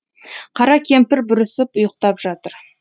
қара кемпір бүрісіп ұйықтап жатыр